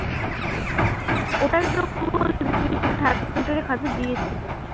দিয়েছিলিস